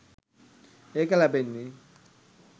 ඒක ලැබෙන්නේ